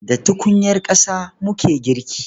Da tukunyar ƙasa muke girki.